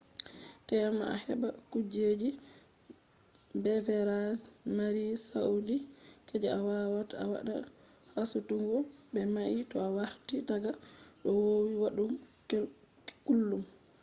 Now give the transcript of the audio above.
tema a heɓa kuje beverage mari sauqi je a wawata a waɗa hasutugo be mai to a warti daga ko vowi waɗugo kullum